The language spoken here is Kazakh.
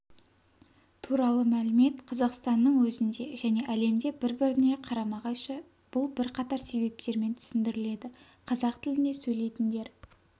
туралы мәлімет қазақстанның өзінде және әлемде бір-біріне қарама-қайшы бұл бірқатар себептермен түсіндіріледі қазақ тілінде сөйлейтіндер